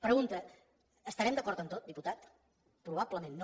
pregunta estarem d’acord en tot diputat probablement no